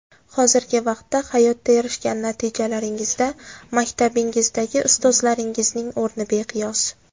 Hozirgi vaqtda hayotda erishgan natijalaringizda maktabingizdagi ustozlaringizning o‘rni beqiyos.